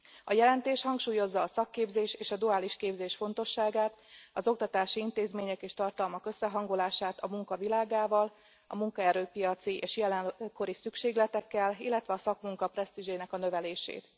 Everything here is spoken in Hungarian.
A jelentés hangsúlyozza a szakképzés és a duális képzés fontosságát, az oktatási intézmények és tartalmak összehangolását a munka világával, a munkaerőpiaci és jelenkori szükségletekkel, illetve a szakmunka presztízsének a növelését.